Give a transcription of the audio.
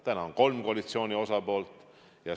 Täna on kolm koalitsiooni osapoolt.